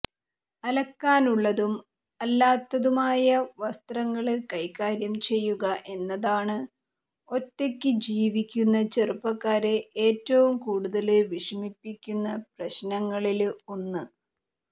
അലക്കാനുള്ളതും അല്ലാത്തതുമായ വസ്ത്രങ്ങള് കൈകാര്യം ചെയ്യുക എന്നതാണ് ഒറ്റയ്ക്ക് ജീവിക്കുന്ന ചെറുപ്പക്കാരെ ഏറ്റവും കൂടുതല് വിഷമിപ്പിക്കുന്ന പ്രശ്നങ്ങളില് ഒന്ന്